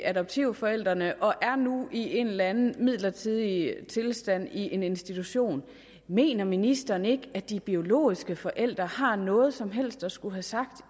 adoptivforældrene og er nu i en eller anden midlertidig tilstand i en institution mener ministeren ikke at de biologiske forældre har noget som helst at skulle have sagt